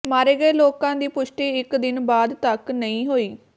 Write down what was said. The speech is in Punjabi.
ਮਾਰੇ ਗਏ ਲੋਕਾਂ ਦੀ ਪੁਸ਼ਟੀ ਇਕ ਦਿਨ ਬਾਅਦ ਤੱਕ ਨਹੀਂ ਹੋਈ